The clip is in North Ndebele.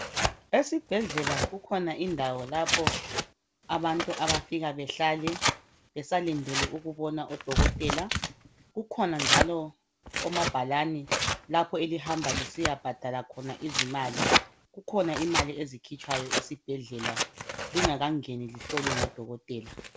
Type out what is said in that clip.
Esibhedlela kukhona indawo lapho abantu abafika behlale besalindele ukumbona odokotela kukhona njalo omabhalani lapho elihamba lisiyabhadala khona izimali kukhona imali ezikhitshwayo esibhedlela lingakangeni lihlolwe ngodokotela.